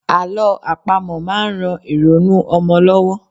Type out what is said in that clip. Àló àpamọ̀ máa ń ran ìrònú ọmọ lọ́wọ́.